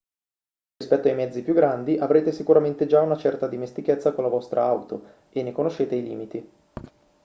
rispetto ai mezzi più grandi avrete sicuramente già una certa dimestichezza con la vostra auto e ne conoscete i limiti